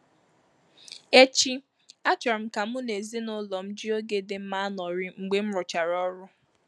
Echi, achọrọ m ka mụ na ezinụlọ m ji oge di mma anọrị mgbe m rụchara ọrụ.